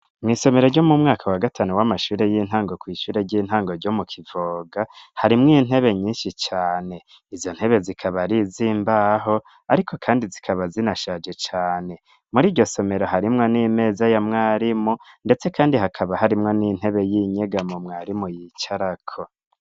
Mw'isomero ryo mu mwaka wa gatanu w'amashure y'intango kw'ishure ry'intango ryo mu kivoga harimwo intebe nyinshi cane izo ntebe zikaba rizimbaho, ariko, kandi zikaba zinashaje cane muri iryo somero harimwo n'imeza ya mwarimu, ndetse kandi hakaba harimwo n'intebe y'inyega mu mwarimu yicarako.